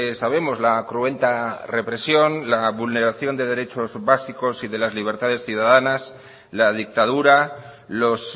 sabemos la cruenta represión la vulneración de derechos básicos y de las libertades ciudadanas la dictadura los